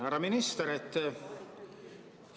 Härra minister!